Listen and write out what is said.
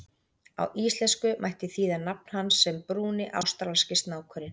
Á íslensku mætti þýða nafn hans sem Brúni ástralski snákurinn.